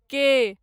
के